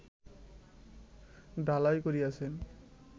ঢালাই করিয়াছেন